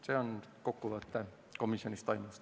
See on kokkuvõte komisjonis toimunust.